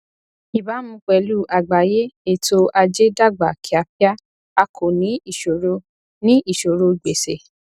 ìbámu pẹlú àgbáyé ètò ajé dàgbà kíákíá a kò ní ìṣòro ní ìṣòro gbèsè